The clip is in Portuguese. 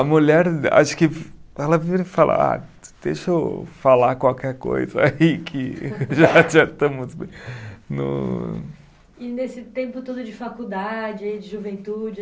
A mulher, acho que ela vira e fala, ah, deixa eu falar qualquer coisa aí que já já estamos no. E nesse tempo todo de faculdade, de juventude